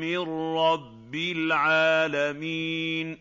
مِّن رَّبِّ الْعَالَمِينَ